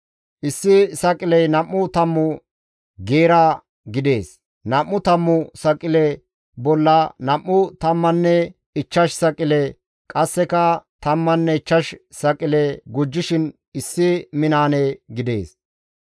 Issi saqiley nam7u tammu geera gidees; nam7u tammu saqile bolla nam7u tammanne ichchash saqile qasseka tammanne ichchash saqile gujjishin issi minaane gidees.